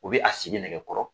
U bɛ a sigi nɛgɛ kɔrɔ